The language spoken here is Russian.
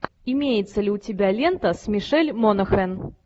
имеется ли у тебя лента с мишель монахэн